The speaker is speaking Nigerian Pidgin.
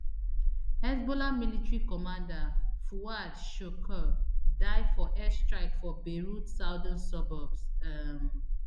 hezbollah military commander fuad shukr die for airstrike for beirut southern suburbs um